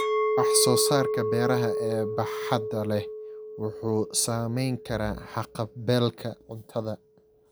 Wax-soo-saarka beeraha ee baaxadda leh wuxuu saameyn karaa haqab-beelka cuntada.